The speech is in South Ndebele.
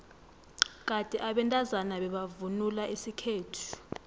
kade abantazana bebavvnula isikhethu